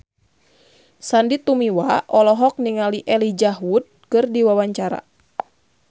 Sandy Tumiwa olohok ningali Elijah Wood keur diwawancara